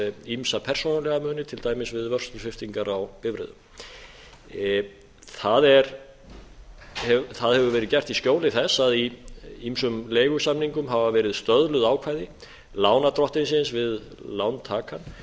ýmsa persónulega muni til dæmis við vörslusviptingar á bifreiðum það hefur verið gert í skjóli þess að í ýmsum leigusamningum hafa verið stöðluð ákvæði lánardrottinsins við lántakann